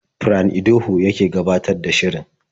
Fran Idoho yake gabatar da shirin.